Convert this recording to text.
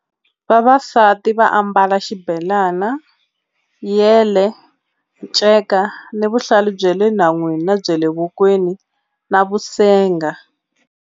Vavasati va ambala xibelana yele nceka ni vuhlalu bya le nhan'wini na bya le vokweni na vusenga.